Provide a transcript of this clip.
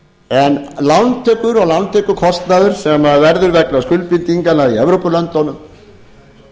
en lántökur og lántökukostnaður sem verður vegna skuldbindinganna í evrópulöndunum